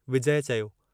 विजय चयो।